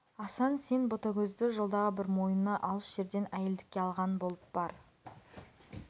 асан сен ботагөзді жолдағы бір мойыны алыс жерден әйелдікке алған болып бар